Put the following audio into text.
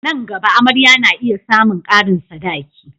A nan gaba, amarya na iya samun karin sadaki.